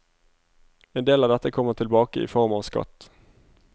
En del av dette kommer tilbake i form av skatt.